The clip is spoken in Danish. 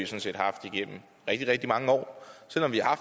set haft igennem rigtig mange år selv om vi har